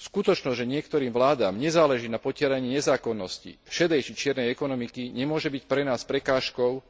Skutočnosť, že niektorým vládam nezáleží na potieraní nezákonnosti šedej či čiernej ekonomiky, nemôže byť pre nás prekážkou,